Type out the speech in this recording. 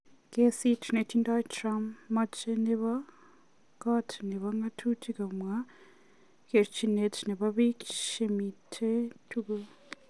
Kesit netindoin Trump; Mache nebo kot nebo ng'atutik komwa kerchinet nebo piik chemiten tukul